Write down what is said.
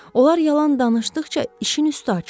Onlar yalan danışdıqca işin üstü açılır.